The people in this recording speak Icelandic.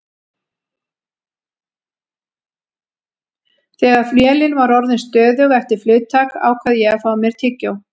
Þegar vélin var orðin stöðug eftir flugtak ákvað ég að fá mér tyggjó.